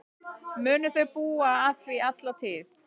Munu þau búa að því alla tíð.